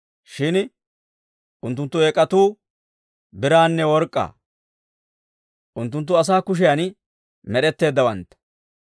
Shin unttunttu eek'atuu biraanne work'k'aa; unttunttu asaa kushiyaan med'etteeddawantta.